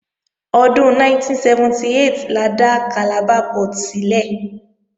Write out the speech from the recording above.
Ọdún 1978 la dá Calabar Port sílẹ̀